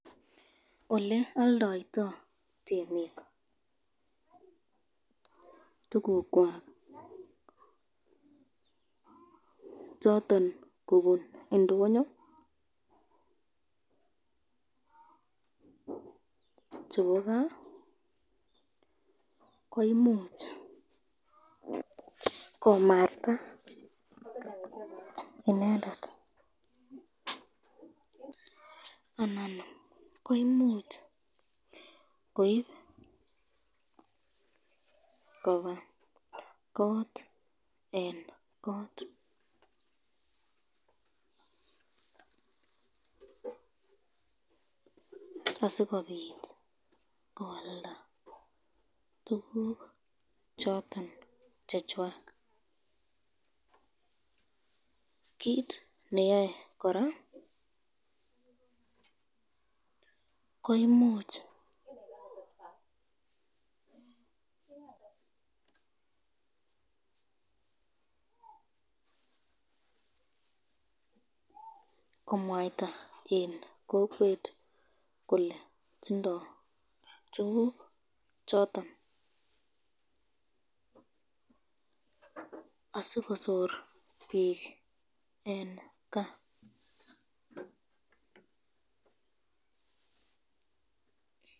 Ole aldoito emet tukukwak choton kobun indonyo chepo kaa ko imuch komarta inendet anan koimuch koib koba